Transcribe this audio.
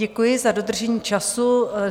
Děkuji za dodržení času.